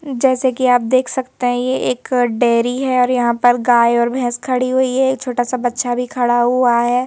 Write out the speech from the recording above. जैसे कि आप देख सकते हैं ये एक डेरी है और यहां पर गाय और भैंस खड़ी हुई है एक छोटा सा बच्छा भी खड़ा हुआ है।